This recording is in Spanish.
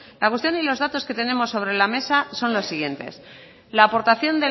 la cuestión y los datos que tenemos sobre la mesa son los siguientes la aportación